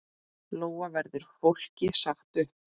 Lóa: Verður fólki sagt upp?